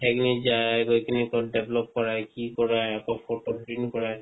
হেই খিনি যায় আয় গৈ খিনি কৰায় কি কৰাই আকো photo print কৰাই